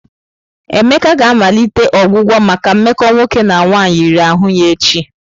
Emeka ga-amalite ọgwụgwọ maka mmekọ nwoke na nwaanyị riri ahụ ya echi.